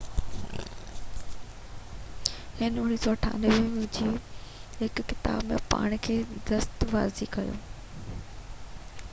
هن 1998 جي هڪ ڪتاب ۾ پاڻ کي دستاويزي ڪيو